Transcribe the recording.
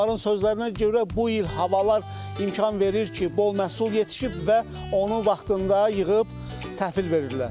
Onların sözlərinə görə bu il havalar imkan verir ki, bol məhsul yetişib və onu vaxtında yığıb təhvil verirlər.